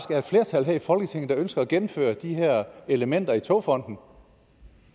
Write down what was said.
er et flertal her i folketinget der ønsker at gennemføre de her elementer i togfondendk